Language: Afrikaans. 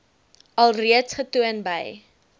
alreeds getoon by